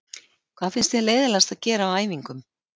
Hvað finnst þér leiðinlegast að gera á æfingum?